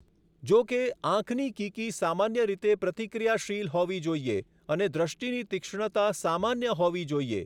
જોકે, આંખની કીકી સામાન્ય રીતે પ્રતિક્રિયાશીલ હોવી જોઈએ, અને દૃષ્ટિની તીક્ષ્ણતા સામાન્ય હોવી જોઈએ.